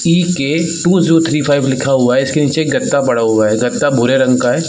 CK two zoo three five लिखा हुआ है इसके नीचे ग़दा पड़ा हुआ है ग़दा भूरे रंग का है ।